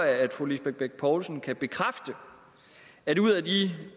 at fru lisbeth bech poulsen kan bekræfte at ud af de